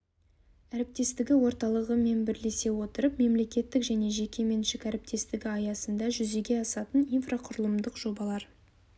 әріптестігі орталығы мен бірлесе отырып мемлекеттік және жеке меншік әріптестігі аясында жүзеге асатын инфрақұрылымдық жобалар